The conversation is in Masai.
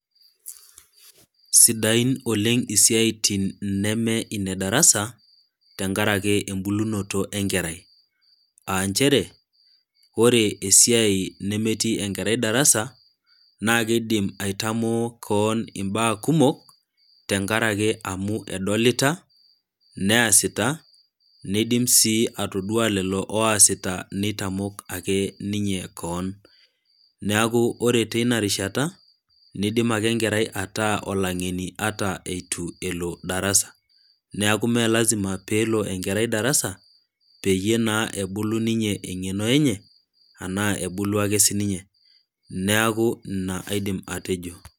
Sidain oleng isiatin neme inedarasa tenkaraki embulunoto enkerai , aanchere ore esiai nemetii enkerai darasa naa keidim aitamoo koon imbaa kumok tenkaraki amu edolita neasita, nidim sii atoduaa lelo oasita nitamok akeninye kewon ,niaku ore tinarishata nidim ake enkerai ataa olangeni ata eitu elo darasa, neeku mmee lazima pee elo enkerai darasa peyie naa ebulu ninye engeno enye anaa ebulu ake sininye , niaku ina nanu aidim atejo.